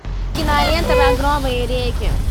кинолента багровые реки